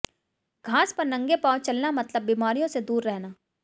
घास पर नंगे पाँव चलना मतलब बीमारियों से दूर रहना